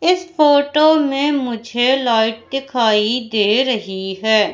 इस फोटो मे मुझे लाइट दिखाई दे रही है।